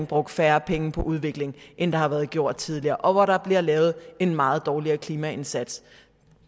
brugt færre penge på udvikling end der har været gjort tidligere og hvor der bliver lavet en meget dårligere klimaindsats